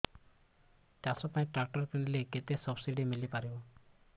ଚାଷ ପାଇଁ ଟ୍ରାକ୍ଟର କିଣିଲେ କେତେ ସବ୍ସିଡି ମିଳିପାରିବ